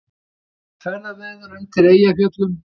Ekkert ferðaveður undir Eyjafjöllum